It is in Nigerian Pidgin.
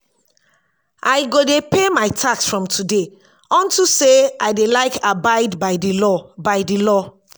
i go dey pay my tax from today unto say i dey like abide by the law by the law